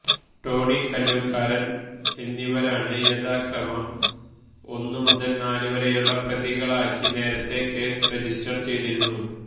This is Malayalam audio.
ടോണി കല്ലൂക്കാരന് എന്നിവരാണ് യഥാക്രമം ഒന്നു മുതല് നാലുവരെയുളള പ്രതികളാക്കി നേരത്തെ കേസ് രജിസ്റ്റര് ചെയ്തിരുന്നു